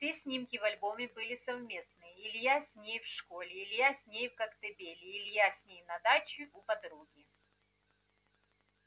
все снимки в альбоме были совместные илья с ней в школе илья с ней в коктебеле илья с ней на даче у подруги